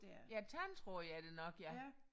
Ja tandtråd er det nok ja